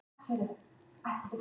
Íslandsmót barna og unglinga í kata